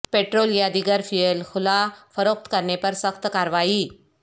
petrol یا دیگر fuel کھلا فروخت کرنے پر سخت کارروائی